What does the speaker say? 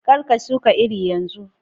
Kar ka shuka irin yanzu!